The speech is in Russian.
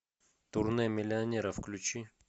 турне миллионера включи